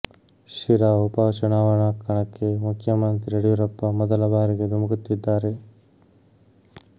ಶಿರಾ ಉಪ ಚುನಾವಣಾ ಕಣಕ್ಕೆ ಮುಖ್ಯಮಂತ್ರಿ ಯಡಿಯೂರಪ್ಪ ಮೊದಲ ಬಾರಿಗೆ ಧುಮುಕುತ್ತಿದ್ದಾರೆ